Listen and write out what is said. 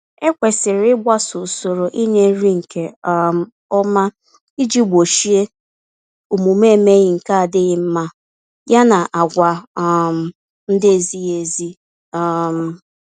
Ekwesịrị ịgbaso usoro ịnye nri nke um ọma iji gbochie omume emeghi nke adịghị mma, ya na àgwà um ndị naezighị ezi. um